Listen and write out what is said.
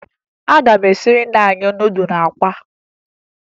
Ị ga-esiri nna anyị nudụ na akwa!